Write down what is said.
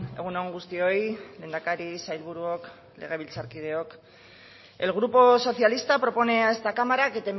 egun on guztioi lehendakari sailburuok legebiltzarkideok el grupo socialista propone a esta cámara que